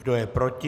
Kdo je proti?